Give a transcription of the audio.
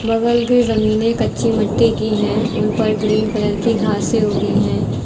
बगल की जमीनें कच्ची मट्टी की हैं उन पर ग्रीन कलर की घासें उगी हैं।